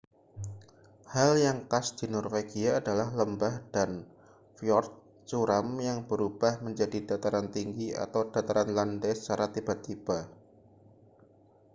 hal yang khas di norwegia adalah lembah dan fyord curam yang berubah menjadi dataran tinggi atau dataran landai secara tiba-tiba